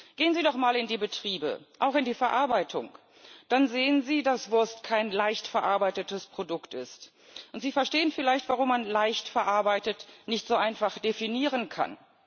Gehen Sie doch mal in die Betriebe, auch in die Verarbeitung, dann sehen Sie, dass Wurst kein leicht verarbeitetes Produkt ist, und Sie verstehen vielleicht, warum man leicht verarbeitet nicht so einfach definieren kann.